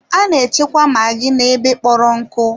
A na-echekwa maggi n'ebe kpọrọ nkụ.